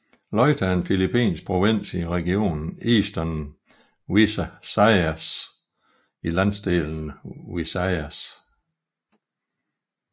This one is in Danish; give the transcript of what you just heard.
Leyte er en filippinsk provins i regionen Eastern Visayas i landsdelen Visayas